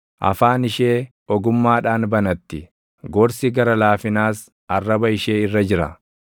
Afaan ishee ogummaadhaan banatti; gorsi gara laafinaas arraba ishee irra jira.